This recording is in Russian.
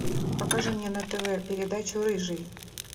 покажи мне на тв передачу рыжий